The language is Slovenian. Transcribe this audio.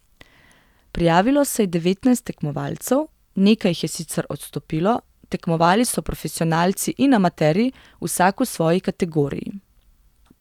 Prijavilo se je devetnajst tekmovalcev, nekaj jih je sicer odstopilo, tekmovali so profesionalci in amaterji, vsak v svoji kategoriji.